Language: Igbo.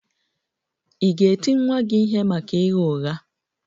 Ị̀ ga-eti nwa gị ihe maka ịgha ụgha?